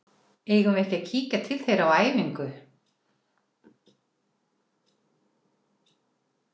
Eigum við ekki að kíkja til þeirra á æfingu?